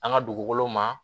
An ka dugukolo ma